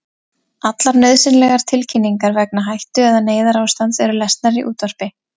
Allar nauðsynlegar tilkynningar vegna hættu- eða neyðarástands eru lesnar í útvarpi.